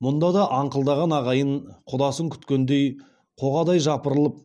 мұнда да аңқылдаған ағайын құдасын күткендей қоғадай жапырылып